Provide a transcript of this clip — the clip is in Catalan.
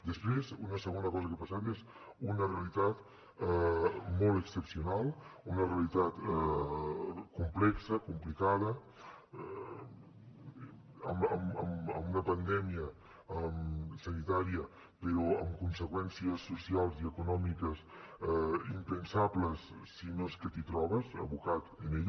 després una segona cosa que ha passat és una realitat molt excepcional una realitat complexa complicada amb una pandèmia sanitària però amb conseqüències socials i econòmiques impensables si no és que t’hi trobes abocat en ella